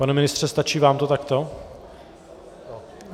Pane ministře, stačí vám to takto?